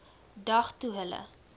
dag toe hulle